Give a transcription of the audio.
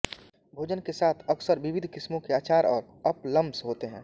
भोजन के साथ अक्सर विविध किस्मों के अचार और अप्पलम्स होते हैं